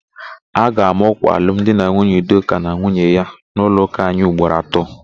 A ga-ama ọ́kwà alumdinanwunye Udoka na nwunye ya n'ụlọụka anyị ugboro atọ.